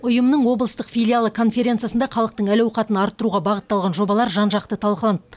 ұйымның облыстық филиалы конференциясында халықтың әл ауқатын арттыруға бағытталған жобалар жан жақты талқыланды